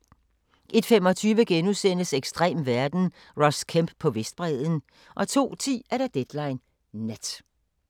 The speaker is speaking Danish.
01:25: Ekstrem verden – Ross Kemp på Vestbredden * 02:10: Deadline Nat